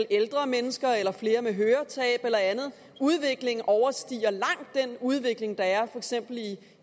ældre mennesker eller flere med høretab eller andet udviklingen overstiger langt den udvikling der er